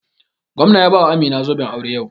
Gwamna ya bawa Amina zoben aure yau.